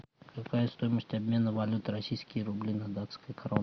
какая стоимость обмена валюты российские рубли на датские кроны